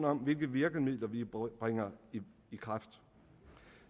om hvilke virkemidler vi bringer i kraft